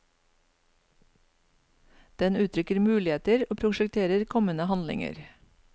Den uttrykker muligheter og prosjekterer kommende handlinger.